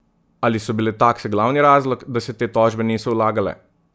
Ali so bile takse glavni razlog, da se te tožbe niso vlagale?